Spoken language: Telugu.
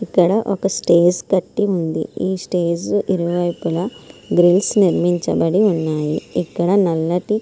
ఇక్కడ ఒక స్టేజ్ కట్టి ఉంది. ఈ స్టేజ్ ఇరువైపులా గ్రిల్స్ నిర్మించబడి ఉన్నాయి. ఇక్కడ నల్లటి--